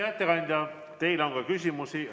Hea ettekandja, teile on ka küsimusi.